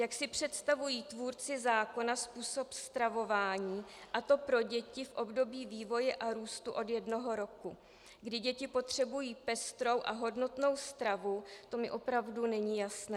Jak si představují tvůrci zákona způsob stravování, a to pro děti v období vývoje a růstu od jednoho roku, kdy děti potřebují pestrou a hodnotnou stravu, to mi opravdu není jasné.